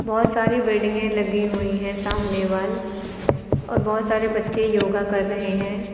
बहुत सारी बिल्डिंगें लगी हुई हैं सामने वाल और बहुत सारे बच्चे योगा कर रहे हैं।